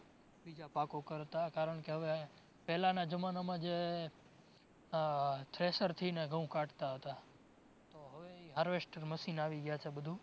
બીજા પાકો કરતાં કારણકે હવે પેલાનાં જમાનામાં જે ઉહ thresher થી ને ઘઉં કાઢતા હતા તો હવે ઇ harvester machine આવી ગ્યાં છે બધુ